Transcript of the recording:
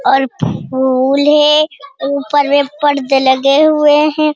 और फूल है ऊपर में पर्दे लगे हुए हैं ।